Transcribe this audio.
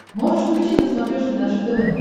можешь включить на смотрешке наше тв